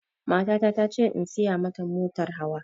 Matata ta ce in saya ma ta motar hawa